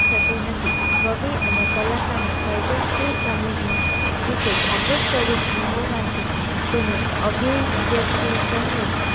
જોતી નથી કવિ અને કલાકર ની સર્જન શીલ સંવેદના વિશે જાગૃત સ્વરૂપ માંથી તેને અભિવ્યક્તિ સહીત